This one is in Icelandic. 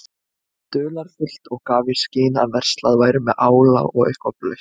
dularfullt og gaf í skyn að verslað væri með ála og eitthvað blautt.